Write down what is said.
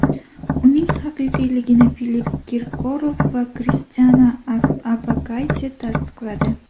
Uning haqiqiyligini Filipp Kirkorov va Kristina Orbakayte tasdiqladi.